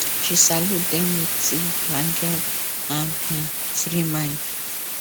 she salute them with tea blanket and um free mind